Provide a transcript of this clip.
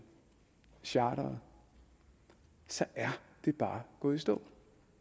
og charteret så er det bare gået i stå